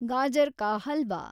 ಗಜರ್ ka halwa